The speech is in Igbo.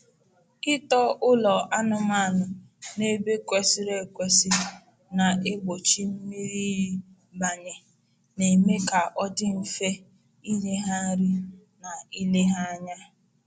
Ịtọ ụlọ anụmanụ n’ebe kwesịrị ekwesị na-egbochi mmiri iyi banye, na-eme ka ọ dị mfe inye ha nri na ile ha anya.